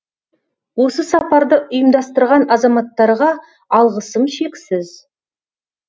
осы сапарды ұйымдастырған азаматтарға алғысым шексіз